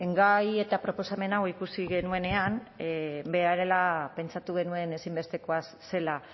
gai eta proposamen hau ikusi genuenean berehala pentsatu genuen ezinbestekoa zela